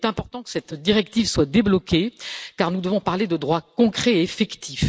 Il est important que cette directive soit débloquée car nous devons parler de droits concrets et effectifs.